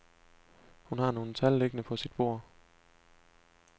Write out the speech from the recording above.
Hun har nogle tal liggende på sit bord.